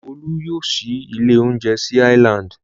Olú yóò ṣí ilé-oúnjẹ sí Island.